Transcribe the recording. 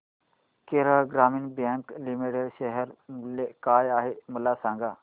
केरळ ग्रामीण bank limited share मूल्य काय आहे मला सांगा